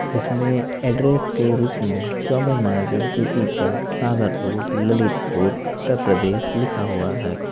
इसमें एड्रेस के रूप में चौबे मार्केट द्वितीय तल सागर रोड ललितपुर उत्तर प्रदेश लिखा हुआ है।